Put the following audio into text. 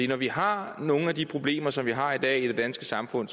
når vi har nogle af de problemer som vi har i dag i det danske samfund